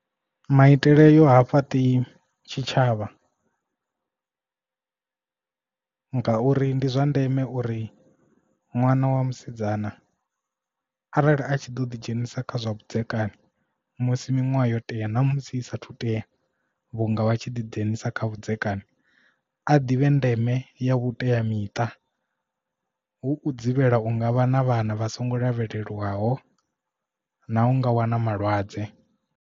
Maitele ayo ha fhaṱi tshitshavha ngauri ndi zwa ndeme uri ṅwana wa musidzana arali a tshi ḓo ḓi dzhenisa kha zwa vhudzekani musi miṅwaha yo tea na musi i sathu tea vhunga vha tshi ḓi dzhenisa kha vhudzekani a ḓivhe ndeme ya vhuteamiṱa huu dzivhela unga vha na vhana vha songo lavhelelwaho na u nga wana malwadze.